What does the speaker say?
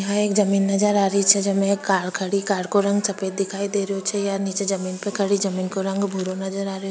यहाँ एक जमीन नजर आ रही छे जेमे कार खड़ी कार को रंग सफ़ेद दिखाई दे रहो छे निचे जमीन पर खड़ी जमीन का रंग भूरो नजर आ रयो --